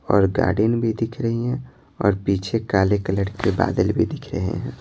और गार्डन भी दिख रही हैं और पीछे काले कलर के बादल भी दिख रहे हैं।